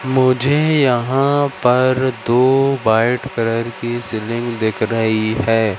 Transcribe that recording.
मुझे यहां पर दो व्हाइट कलर की सीलिंग दिख रही है।